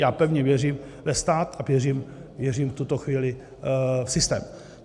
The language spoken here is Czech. Já pevně věřím ve stát a věřím v tuto chvíli v systém.